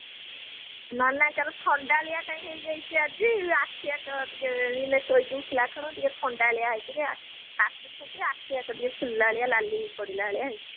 ନନାଙ୍କର ଥଣ୍ଡାଳିଆ କାଇଁ ହେଇଯାଇଛି ଆଜି ଆଖି ଯାକ ଟିକେ ଏଇନା ଶୋଇକି ଉଠିଲା ଥଣ୍ଡାଳିଆ ହେଇକିରି କାଶୁଛନ୍ତି ନା ଆଖି ଯାକ ଟିକେ ଫୁଲିଲା ଭଳିଆ ନାଲି ପଡିଲା ଭଳିଆ ହେଇଛି